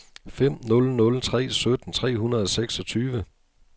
fem nul nul tre sytten tre hundrede og seksogtyve